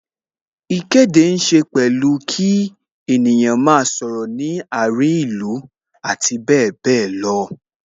Ìkéde ní ṣe pẹ̀lú kí ènìyàn máa sọ̀rọ̀ ní àárín ìlú abbl.